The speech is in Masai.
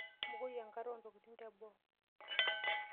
Mbukoi enkare oontokitin teboo.